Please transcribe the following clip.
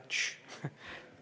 Tss!